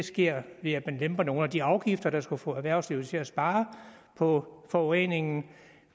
sker ved at man lemper nogle af de afgifter der skulle få erhvervslivet til at spare på forureningen